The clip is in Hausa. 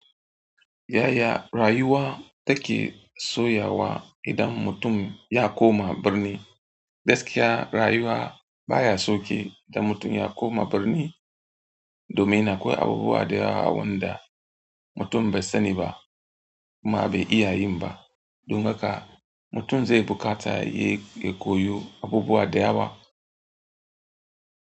Yaya rayuwa take sauyawa idan mutum ya koma birni? Gaskiya rayuwa ba ya sauƙi idan mutum ya koma birni domin akwai abubuwa da yawa wanda mutum bai sani ba kuma bai iya yin ba. Don haka mutum zai buƙata ya koyi abubuwa da yawa.